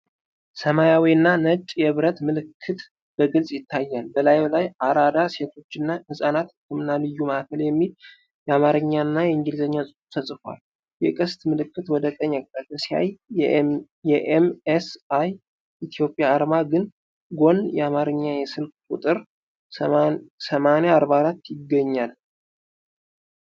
ሰማያዊና ነጭ የብረት ምልክት በግልጽ ይታያል፤ በላዩ ላይ "አራዳ ሴቶችና ሕፃናት ህክምና ልዩ ማዕከል" የሚል የአማርኛና የእንግሊዝኛ ጽሑፍ ተጽፏል። የቀስት ምልክት ወደ ቀኝ አቅጣጫ ሲያሳይ፤ ከ ኤም.ኤስ.አይ ኢትዮጵያ አርማ ጎን የአማርኛ የስልክ ቁጥር "8044" ይገኛል።